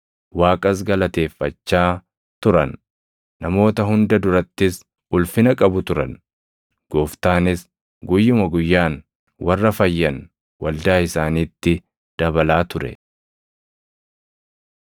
Waaqas galateeffachaa turan. Namoota hunda durattis ulfina qabu turan. Gooftaanis guyyuma guyyaan warra fayyan waldaa isaaniitti dabalaa ture.